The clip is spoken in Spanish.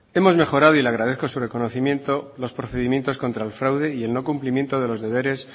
hemos mejorado y le agradezco su reconocimiento los procedimientos contra el fraude y el no cumplimiento de los deberes